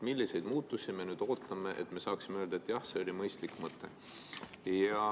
Milliseid muutusi me nüüd ootame, et saaksime öelda, jah, see oli mõistlik mõte?